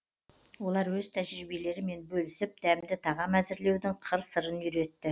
олар өз тәжірибелерімен бөлісіп дәмді тағам әзірлеудің қыр сырын үйретті